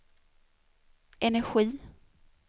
energi